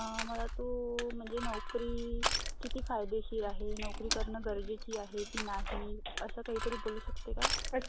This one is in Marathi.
अं .. मला तू .. म्हणजे नोकरी किती फायदेशीर आहे, नोकरी करणं गरजेचं आहे की नाही; असं काहीतरी बोलू शकते का?